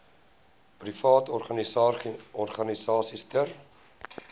private organisasies ter